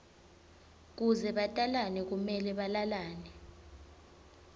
kuze batalane kumele balalane